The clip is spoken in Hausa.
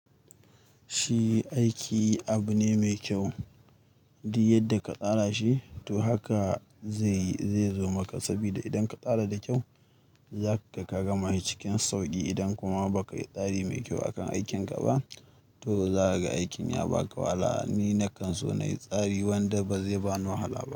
Shi aiki abu ne mai kyau, duk yadda ka tsara shi toh haka zai zo maka. Saboda idan ka tsara da kyau, zaka ga ka gama shi cikin sauƙi. Idan kuma baka yi tsari mai kyau a kan aikinka ba, to za ka ga aikin ya ba ka wahala. Ni na kan so na yi tsari, wanda ba zai ba ni wahala ba.